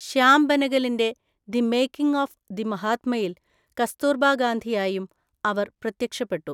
ശ്യാം ബെനഗലിന്റെ 'the making of the മഹാത്മ'യിൽ കസ്തൂർബാ ഗാന്ധിയായും അവർ പ്രത്യക്ഷപ്പെട്ടു.